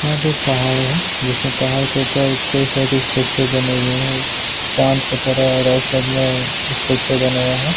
यहा पे एक पहाड़ है जिसमे पहाड़ के ऊपर कई तरिके के स्ट्रक्चर बने हुए हैं चांद की तरह राइट साइड में स्ट्रक्चर बना हुआ है।